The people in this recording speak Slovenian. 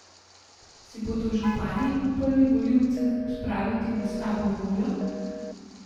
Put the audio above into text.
Si bodo župani upali volivce spraviti v slabo voljo?